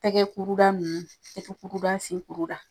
Tɛgɛ kuruda nunnu tɛgɛ kuruda sen kuruda